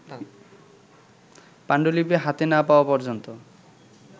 পাণ্ডুলিপি হাতে না-পাওয়া পর্যন্ত